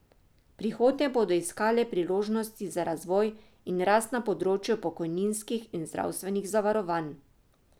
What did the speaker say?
V prihodnje bodo iskale priložnosti za razvoj in rast na področju pokojninskih in zdravstvenih zavarovanj.